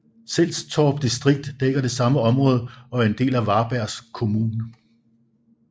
Sællstorp distrikt dækker det samme område og er en del af Varbergs kommun